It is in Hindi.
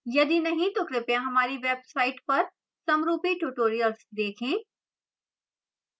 यदि नहीं तो कृपया हमारी website पर समरूपी tutorials देखें